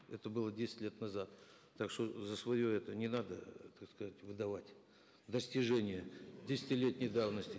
это было десять лет назад так что за свое это не надо так сказать выдавать достижение десятилетней давности